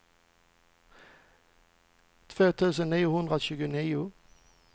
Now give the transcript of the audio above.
två tusen niohundratjugonio